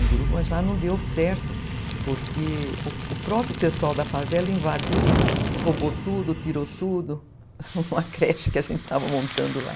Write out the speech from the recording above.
mas lá não deu certo, porque o próprio pessoal da favela invadiu, roubou tudo, tirou tudo, uma creche que a gente estava montando lá.